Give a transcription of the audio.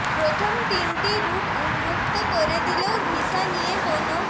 প্রথম তিনটি রুট উন্মুক্ত করে দিলেও ভিসা নিয়ে কোনো